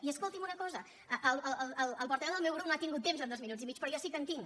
i escolti’m una cosa el portaveu del meu grup no ha tingut temps en dos minuts i mig però jo sí que en tinc